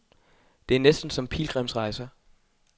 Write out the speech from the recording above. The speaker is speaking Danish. Det er næsten som pilgrimsrejser.